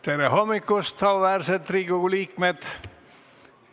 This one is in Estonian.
Tere hommikust, auväärsed Riigikogu liikmed!